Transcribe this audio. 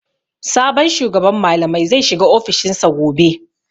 Sabon shugaban malamai zai shiga ofishin sa gobe.